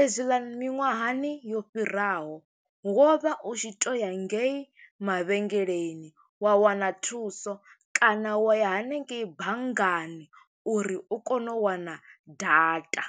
Ezwi ḽa miṅwahani yo fhiraho, wo vha u tshi to ya ngei mavhengeleni wa wana thuso, kana wa ya hanengeyi banngani uri u kone u wana data.